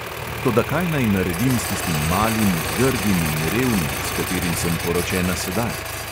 Toda kaj naj naredim s tistim malim, grdim in revnim, s katerim sem poročena sedaj?